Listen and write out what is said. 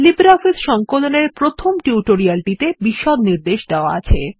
LibreOffice সংকলন এর প্রথম টিউটোরিয়াল টিতে বিষদ নির্দেশ দেওয়া আছে